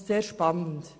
Das ist sehr spannend.